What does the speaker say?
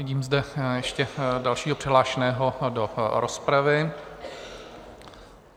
Vidím zde ještě dalšího přihlášeného do rozpravy.